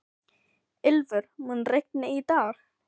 Ylfur, mun rigna í dag?